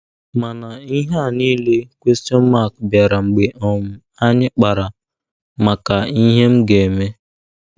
Mana ihe a niile bịara mgbe um anyị kpara maka “ Ihe M Ga - eme! ””